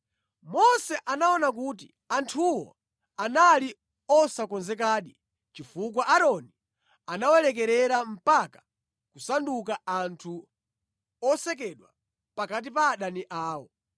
Mose anaona kuti anthuwo anali osokonezekadi chifukwa Aaroni anawalekerera mpaka kusanduka anthu osekedwa pakati pa adani awo.